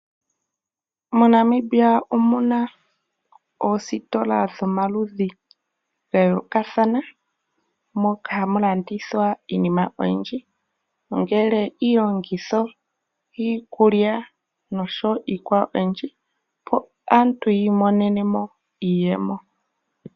MoNamibia omu na oositola dhomaludhi ga yoolokathana moka hamu landithwa iinima iinima oyindji ongele iilongitho, iikulya noshowo iikwawo oyindji, opo aantu yi imonene mo iiyemo.